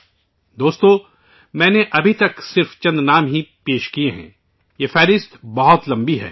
ساتھیو ، میں نے ابھی تک صرف چند نام گنوائے ہیں، یہ فہرست بہت لمبی ہے